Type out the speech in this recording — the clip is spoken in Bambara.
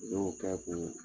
Ale y'o k'a kun